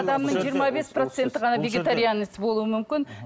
адамның жиырма бес проценті ғана вегетарианец болуы мүмкін